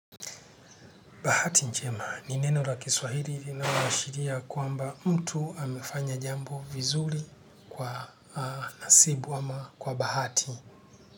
Bahati njema ni neno la kiswahiri inaloashiria kwamba mtu amefanya jambo vizuri kwa nasibu ama kwa bahati.